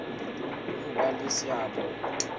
le ho ba le seabo